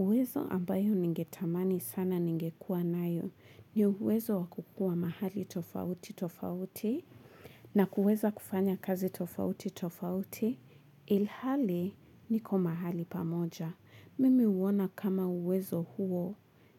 Uwezo ambayo ningetamani sana ningekua nayo ni uwezo wa kukua mahali tofauti tofauti na kuweza kufanya kazi tofauti tofauti ilhali niko mahali pamoja. Mimi uona kama uwezo huo